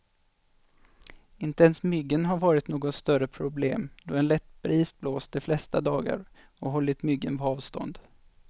Inte ens myggen har varit något större problem, då en lätt bris blåst de flesta dagar och hållit myggen på avstånd.